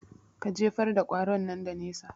Ka jefar da ƙwaron nan da nesa